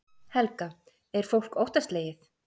Helga: Er fólk óttaslegið?